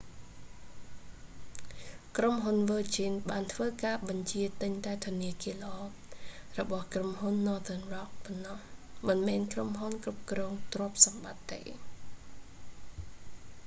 ក្រុមហ៊ុន virgin បានធ្វើការបញ្ជារទិញតែ ធនាគារល្អ របស់ក្រុមហ៊ុន northern rock ប៉ុណ្ណោះ មិនមែនក្រុមហ៊ុនគ្រប់គ្រងទ្រព្យសម្បត្តិទេ